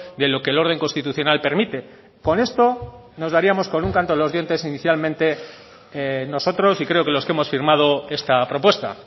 de lo que el orden constitucional permite con esto nos daríamos con un canto en los dientes inicialmente nosotros y creo que los que hemos firmado esta propuesta